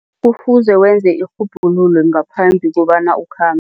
Kufuze wenze irhubhululo ngaphambi kobana ukhambe.